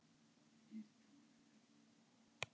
Það er stál í stál